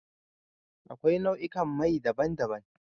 Akwai nau'ikan mai daban-daban.